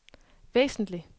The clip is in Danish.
væsentligt